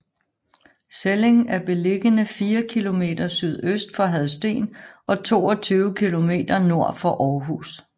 Selling er beliggende fire kilometer sydøst for Hadsten og 22 kilometer nord for Aarhus